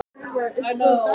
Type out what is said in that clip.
Núna talar hún.